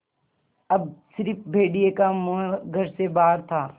अब स़िर्फ भेड़िए का मुँह घर से बाहर था